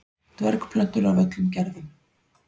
dvergplöntur af öllum gerðum